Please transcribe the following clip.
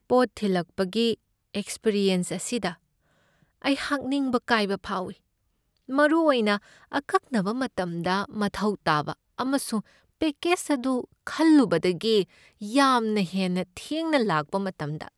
ꯄꯣꯠ ꯊꯤꯜꯂꯛꯄꯒꯤ ꯑꯦꯛꯁꯄꯤꯔꯤꯑꯦꯟꯁ ꯑꯁꯤꯗ ꯑꯩꯍꯥꯛ ꯅꯤꯡꯕ ꯀꯥꯏꯕ ꯐꯥꯎꯏ, ꯃꯔꯨ ꯑꯣꯏꯅ ꯑꯀꯛꯅꯕ ꯃꯇꯝꯗ ꯃꯊꯧ ꯇꯥꯕ ꯑꯃꯁꯨꯡ ꯄꯦꯀꯦꯖ ꯑꯗꯨ ꯈꯜꯂꯨꯕꯗꯒꯤ ꯌꯥꯝꯅ ꯍꯦꯟꯅ ꯊꯦꯡꯅ ꯂꯥꯛꯄ ꯃꯇꯝꯗ꯫